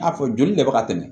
N'a fɔ joli de bɛ ka tɛmɛ